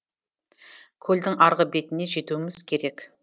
көлдің арғы бетіне жетуіміз керек